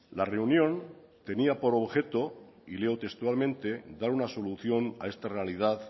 la reunión tenía por objeto y leo textualmente dar una solución a esta realidad